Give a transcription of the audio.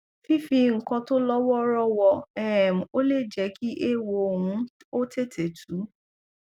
fífi nǹkan tó lọ wọọrọ wọ um ọ lè jẹ kí ééwo ń ó tètè tú